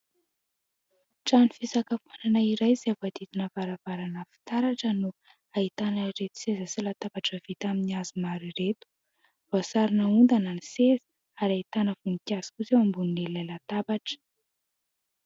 Trano fisakafoanana iray izay voahodidina varavarana fitaratra no ahitana ireto seza sy latabatra vita amin'ny hazo maro ireto ; voasarona ondana ny seza ary ahitana voninkazo kosa eo ambonin'ilay latabatra.